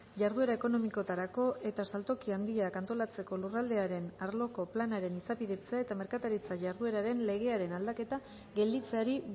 jarduera ekonomikoetarako eta saltoki handiak antolatzeko lurraldearen arloko planaren izapidetzea eta merkataritza jardueraren legearen aldaketa gelditzeari